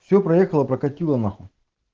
все проехало прокатило нахуй